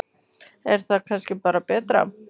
Er það kannski bara betra?